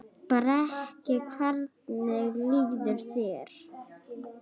Breki: Hvernig líður þér?